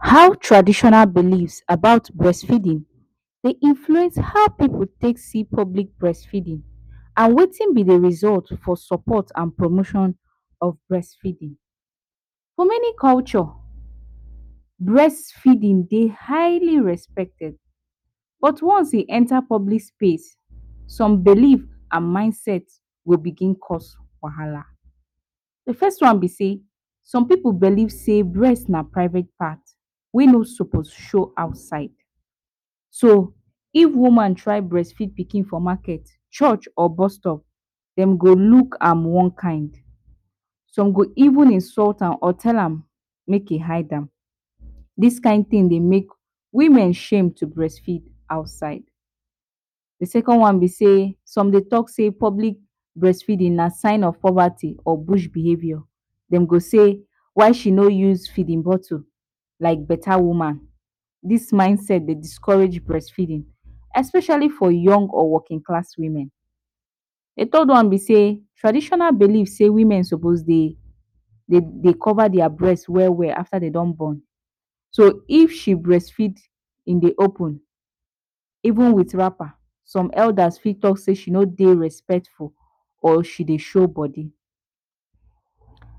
How traditional beliefs about breastfeeding the influence how pipu dey take see public breastfeeding and wetin be de result for support and for de motion of breastfeeding. for many culture breastfeeding dey highly respected but once you enter public space some beliefs and mind set go begin cost wahala dey first thing be sey some pipo believe sey breast na private part whey no suppose show outside, so if woman try breastfeed pikin for market church or bus stop dem go dey look am one kind some go even insult am or tell am make em hide am dis kind tin de make women shame to breastfeed outside. Dey second one be sey some dey talk sey public breastfeeding na sign of poverty or bush behavior dem go sey whey she no use feeding bottle, like beta woman dis mind set dey discourage breastfeeding especially for young or working class women. De third one be sey traditional belief sey women suppose dey cover their breast well well after de don born, so if she breast feed in de open even with wrapper some elders fit talk sey she no dey respectful or she dey show body.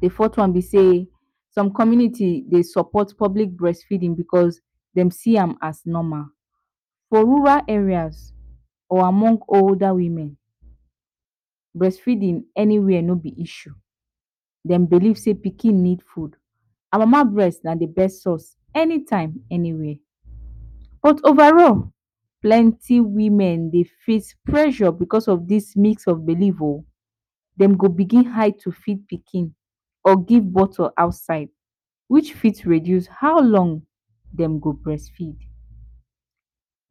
De fourth one be sey some community dey support public breastfeeding because dem see am as normal for rural areas or among older women breastfeeding anywhere no b issue dem believe sey pikin need food and mama breast na dey best source any time any where but over roll plenty women dey face pressure because of dis need of belief o dem go begin hide to feed pikin or give bottle outside which fit reduce how long dem go breastfeed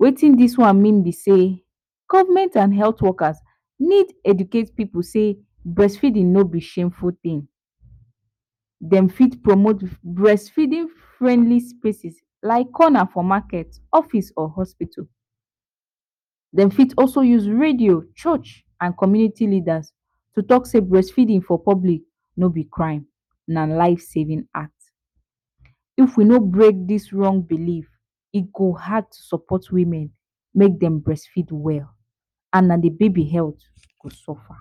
wetin dis one mean be sey government and health workers need educate people sey breastfeeding no be shameful thing, dem feed promote breastfeed friendly spaces like Conner for market office or hospital dem fit also use radio, church and community leaders to talk sey breastfeeding for public no be crime na life saving act if we no break dis wrong belief e go hard to support women make dem breastfeed well and na de baby health go suffer.